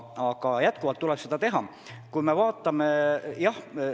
Seda tuleks jätkuvalt teha.